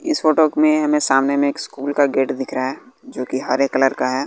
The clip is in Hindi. इस फोटो में हमें सामान में एक स्कूल का गेट दिख रहा है जो कि हरे कलर का है।